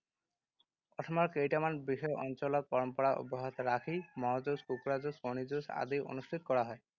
অসমৰ কেইটামান বিশেষ অঞ্চলত পৰম্পৰা অব্যাহত ৰাখি মহ যুঁজ, কুকুৰা যুঁজ, কণী যুঁজ আদি অনুষ্ঠিত কৰা হয়।